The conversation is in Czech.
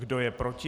Kdo je proti?